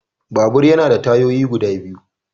Babur yana da tayoyi guda biyu.